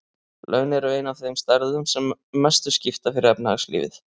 Laun eru ein af þeim stærðum sem mestu skipta fyrir efnahagslífið.